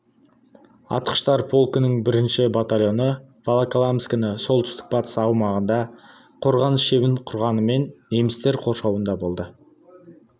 атқыштар полкінің бірінші батальоны волоколамскінің солтүстік-батыс аймағында қорғаныс шебін құрғанымен немістер қоршауында болды